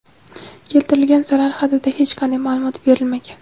Keltirilgan zarar hadida hech qanday ma’lumot berilmagan.